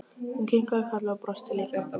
Hún kinkaði kolli og brosti líka.